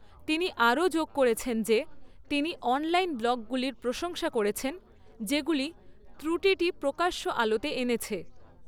তিনি আরও যোগ করেছেন যে তিনি অনলাইন ব্লগগুলির প্রশংসা করেছেন যেগুলি ত্রুটিটি প্রকাশ্য আলোতে এনেছে।